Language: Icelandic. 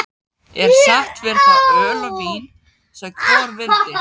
Er sett fyrir þá öl og vín sem hvor vildi.